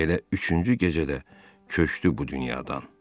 Elə üçüncü gecədə köçdü bu dünyadan.